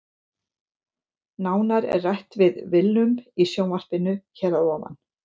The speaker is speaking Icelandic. Nánar er rætt við Willum í sjónvarpinu hér að ofan.